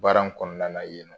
Baara in kɔnɔna yen nɔ